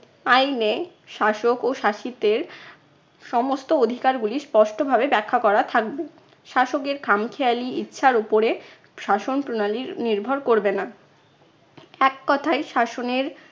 আইনে শাসক ও শাসিতের সমস্ত অধিকারগুলি স্পষ্টভাবে ব্যাখ্যা করা থাকবে। শাসকের খামখেয়ালি ইচ্ছার উপরে শাসন প্রণালীর নির্ভর করবে না। এক কথায় শাসনের